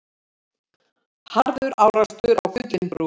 Harður árekstur á Gullinbrú